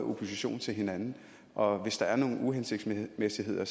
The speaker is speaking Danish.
opposition til hinanden og hvis der er nogle uhensigtsmæssigheder